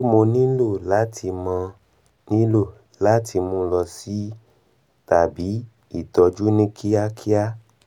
ṣé mo nílò láti mo nílò láti mu lọ si er tàbí ìtọ́jú ní kíákíá